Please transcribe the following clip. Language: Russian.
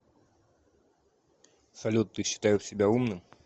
салют ты считаешь себя умным